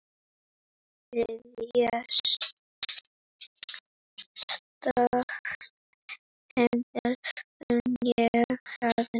Þriðja skotið heyrði ég aðeins.